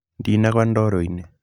Ndinagwa ndoro-inĩ.